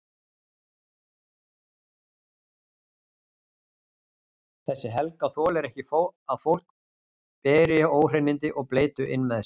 Hún er alveg ferlega tillitslaus